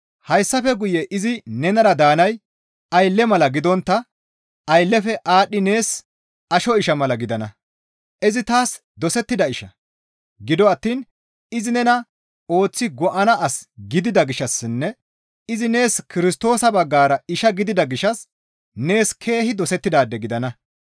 Hayssafe guye izi nenara daanay aylle mala gidontta ayllefe aadhdhi nees asho isha mala gidana; izi taas dosettida isha; gido attiin izi nena ooththi go7ana as gidida gishshassinne izi nees Kirstoosa baggara isha gidida gishshas nees keehi dosettidaade gidana.